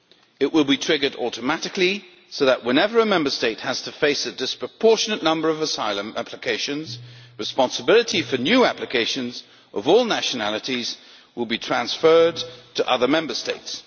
It will be triggered automatically so that, whenever a Member State has to face a disproportionate number of asylum applications, responsibility for new applicants of all nationalities will be transferred to other Member States.